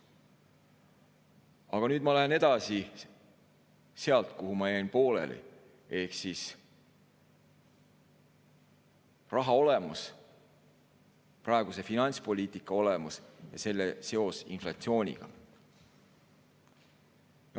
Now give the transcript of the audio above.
Aga nüüd ma lähen edasi sealt, kus ma pooleli jäin: raha olemus, praeguse finantspoliitika olemus ja selle seos inflatsiooniga.